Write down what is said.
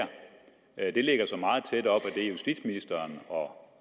at det lægger sig meget tæt op ad det justitsministeren og